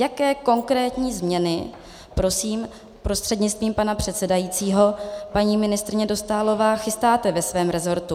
Jaké konkrétní změny prosím, prostřednictvím pana předsedajícího paní ministryně Dostálová, chystáte ve svém rezortu?